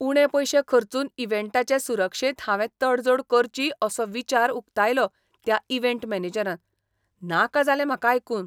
उणे पयशे खर्चून इव्हेंटाचे सुरक्षेंत हांवे तडजोड करची असो विचार उकतायलो त्या इव्हेंट मॅनेजरान. नाका जालें म्हाका आयकून!